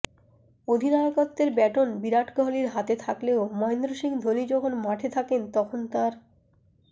অধিনায়কত্বের baton Virat কোহালির হাতে থাকলেও মহেন্দ্র সিংহ ধোনি যখন মাঠে থাকেন তখন তাঁর